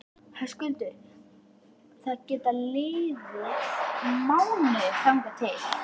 Höskuldur: Það geta liðið mánuðir þangað til?